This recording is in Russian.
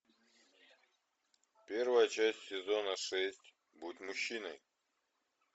первая часть сезона шесть будь мужчиной